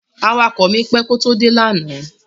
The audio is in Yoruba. Awakọ̀ mi pẹ́ kó tó dé lánàá.